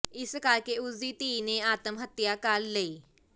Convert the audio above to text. ਇਸ ਕਰਕੇ ਉਸ ਦੀ ਧੀ ਨੇ ਆਤਮ ਹੱਤਿਆ ਕਰ ਲਈ